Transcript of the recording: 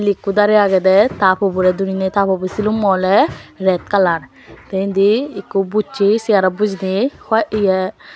miley eko darey aageydey ta pobow ray duriney tapobow silummow oley ret colour tey indi ekko bussey segarot bujiney why iye.